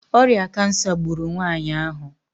ọrịa kansa gburu nwanyị ahụ